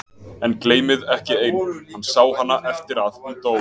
En, gleymið ekki einu: hann sá hana eftir að hún dó.